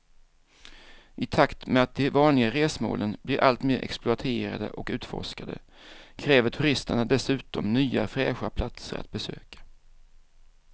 I takt med att de vanliga resmålen blir allt mer exploaterade och utforskade kräver turisterna dessutom nya fräscha platser att besöka.